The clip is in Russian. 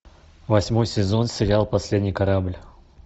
восьмой сезон сериал последний корабль